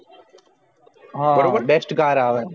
હા best car આવે છે